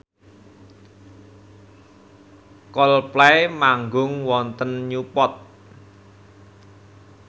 Coldplay manggung wonten Newport